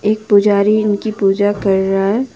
पुजारी इनकी पूजा कर रहा है ।